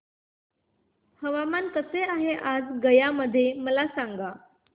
हवामान कसे आहे आज गया मध्ये मला सांगा